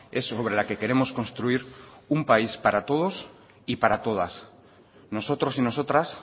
es sobre la que queremos construir un país para todos y para todas nosotros y nosotras